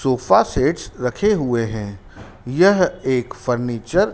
sofa sets रखे हुए है यह एक फर्नीचर --